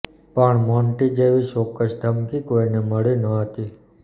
પણ મોન્ટી જેવી ચોક્કસ ધમકી કોઇને મળી ન હતી